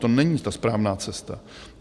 To není ta správná cesta.